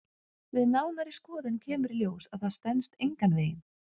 Við nánari skoðun kemur í ljós að það stenst engan veginn.